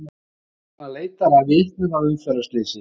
Lögreglan leitar að vitnum að umferðarslysi